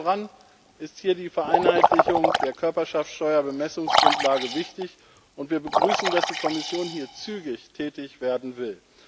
Allen voran ist hier die Vereinheitlichung der Körperschaftssteuer Bemessungsgrundlage wichtig, und wir begrüßen, dass die Kommission hier zügig tätig werden will.